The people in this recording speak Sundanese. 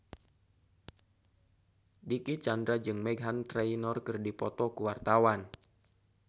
Dicky Chandra jeung Meghan Trainor keur dipoto ku wartawan